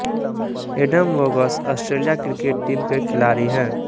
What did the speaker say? Adam Voges Australia cricket team के खिलाड़ी हैं